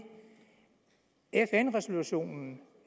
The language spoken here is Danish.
fn resolutionen